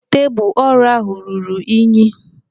Tebụl ọrụ ahụ ruru unyi.